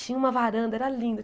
Tinha uma varanda, era linda.